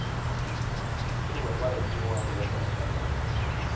Troen var ikke noe han delte med fremmede.